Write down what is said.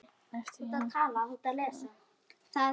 eftir Jakob Smára.